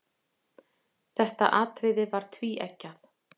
Þetta atriði er tvíeggjað.